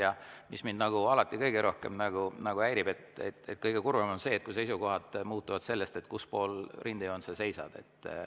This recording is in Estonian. Ja mis mind alati kõige rohkem häirib: kõige kurvem on see, kui seisukohad muutuvad olenevalt sellest, kus pool rindejoont sa seisad.